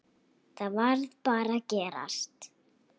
Það varð bara að gerast.